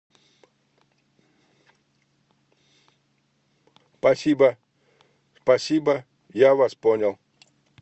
спасибо спасибо я вас понял